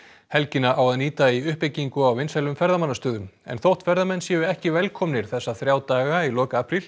helgina á að nýta í uppbyggingu á vinsælum ferðamannastöðum en þótt ferðamenn séu ekki velkomnir þessa þrjá daga í lok apríl